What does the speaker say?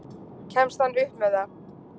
Kemst hann upp með það?